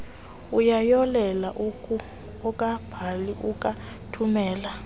uyayolela akabhali akathumeli